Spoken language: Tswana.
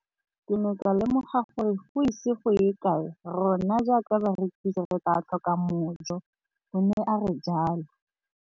Ke ne ka lemoga gore go ise go ye kae rona jaaka barekise re tla tlhoka mojo, o ne a re jalo.